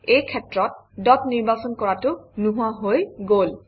এই ক্ষেত্ৰত ডট নিৰ্বাচন কৰাটো নোহোৱা হৈ গল